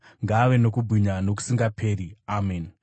ngaave nokubwinya nokusingaperi. Ameni.